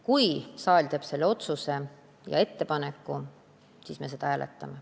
Kui saal teeb selle ettepaneku, siis me seda hääletame.